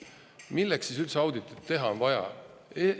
Milleks siis üldse auditit teha on vaja?